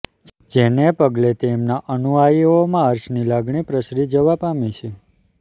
જેને પગલે તેમના અનુયાયીઓમાં હર્ષની લાગણી પ્રસરી જવા પામી છે